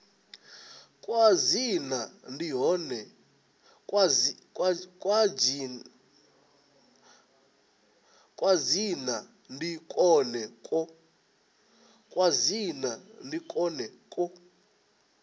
kwa dzina ndi kwone kwo